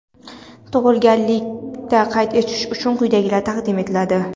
Tug‘ilganlikni qayd etish uchun quyidagilar taqdim etiladi:.